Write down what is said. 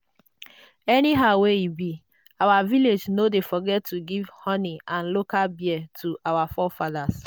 anyhow wey e be our village no dey forget to give honey and local beer to our forefathers.